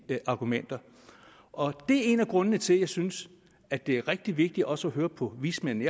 argumenter og det er en af grundene til jeg synes at det er rigtig vigtigt også at høre på vismændene